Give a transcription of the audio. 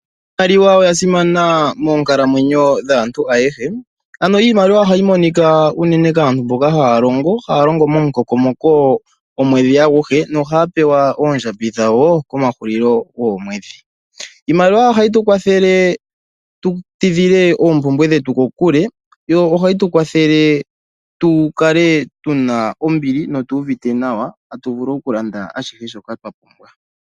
Iimaliwa oya simana moonkalamwenyo dhaantu ayehe. Iimaliwa ohayi monika unene kaantu mboka haya longo, haya longo momukokomoko omwedhi aguhe nohaa pewa oondjambi dhawo komahulilo goomwedhi. Iimaliwa ohayi tu kwathele tu tidhile oompumbwe dhetu kokule, yo ohayi tu kwathele tu kale tu na ombili notu uvite nawa tatu vulu okulanda ashihe shoka twa pumbwa.